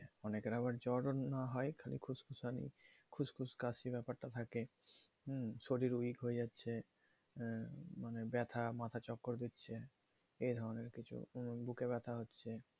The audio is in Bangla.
অনেকের আবার জ্বর হয় হালকা খুসখুস কাশি ব্যাপারটাও থাকে শরীর উইক হয়ে যাচ্ছে হ্যাঁ ব্যথা মাথা চক্কর দিচ্ছে এ ধরনের কিছু বুকে ব্যথা হচ্ছে